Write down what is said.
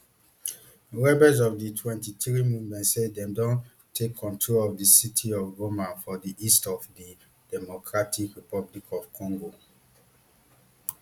rebels of di mtwenty-three movement say dem don take control of di city of goma for di east of di democratic republic of congo